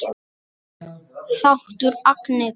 Þáttur Agnetu